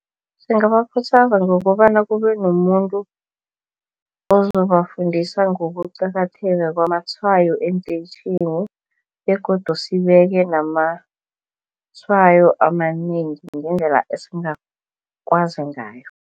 Singabakhuthaza ngokobana kubenomuntu ozobafundisa ngokuqakatheka kwamatshwayo eentetjhini begodu sibeke namatshwayo amanengi ngendlela esingakwazi ngayo.